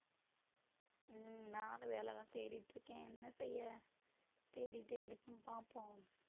உம் நானும் வேலைதான் தேடிட்டு இருக்கேன் என்ன செய்ய தேடிட்டே இருப்போம் பார்ப்போம்